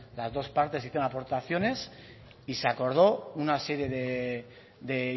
las dos partes hicieron aportaciones y se acordó una serie de